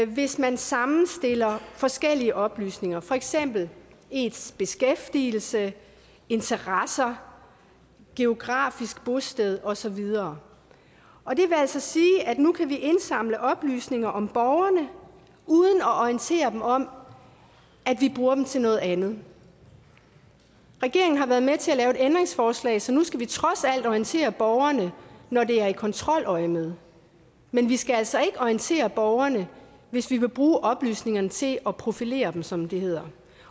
hvis man sammenstiller forskellige oplysninger for eksempel ens beskæftigelse interesser geografisk bosted og så videre og det vil altså sige at vi nu kan indsamle oplysninger om borgerne at orientere dem om at vi bruger oplysningerne til noget andet regeringen har været med til at lave et ændringsforslag så nu skal vi trods alt orientere borgerne når det er i kontroløjemed men vi skal altså ikke orientere borgerne hvis vi vil bruge oplysningerne til at profilere dem som det hedder